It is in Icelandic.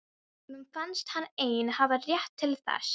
Honum fannst hann einn hafa rétt til þess.